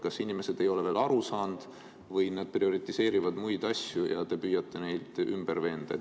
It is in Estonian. Kas inimesed ei ole veel aru saanud või nad prioriseerivad muid asju ja te püüate neid ümber veenda?